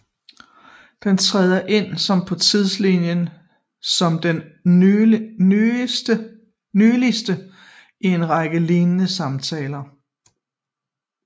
Den træder ind som på tidslinjen som den nyligste i en række lignende samtaler